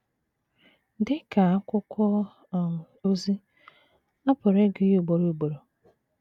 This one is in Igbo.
Dị ka akwụkwọ um ozi, a pụrụ ịgụ ya ugboro ugboro.